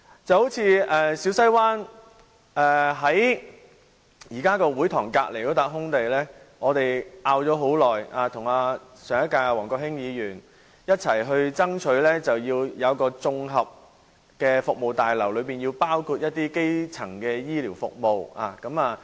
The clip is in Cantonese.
就如小西灣會堂旁邊那片空地，我們爭拗了很久，我和上屆議員王國興向不同部門反映，爭取興建一座綜合服務大樓，其中包括基層醫療服務。